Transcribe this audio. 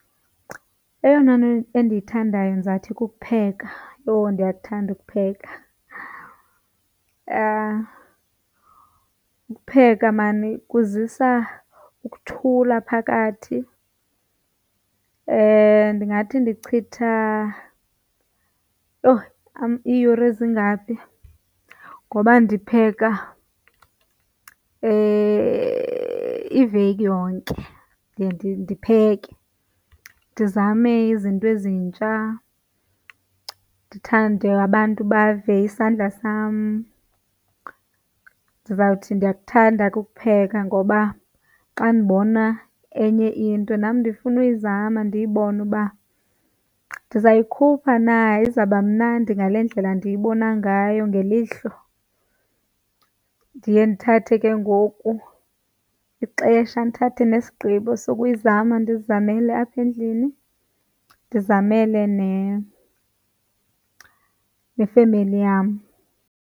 Eyona nto endiyithandayo ndizawuthi kukupheka. Yho, ndiyakuthanda ukupheka! Ukupheka maan kuzisa ukuthula phakathi. Ndingathi ndichitha, yho, iiyure ezingaphi? Ngoba ndipheka iveki yonke ndipheke, ndizame izinto ezintsha ndithande abantu bave isandla sam. Ndizawuthi ndiyakuthanda ke ukupheka ngoba xa ndibona enye into, nam ndifuna uyizama ndiyibone uba ndizayikhupha na, izawuba mnandi ngale ndlela ndiyibona ngayo ngelihlo. Ndiye ndithathe ke ngoku ixesha ndithathe nesigqibo sokuyizama, ndizizamele apha endlini, ndizamele nefemeli yam.